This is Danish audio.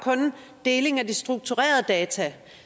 deling af de strukturerede data